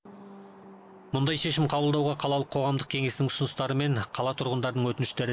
мұндай шешім қабылдауға қалалық қоғамдық кеңестің ұсыныстары мен қала тұрғындарының өтініштері